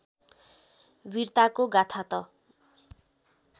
वीरताको गाथा त